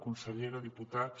consellera diputats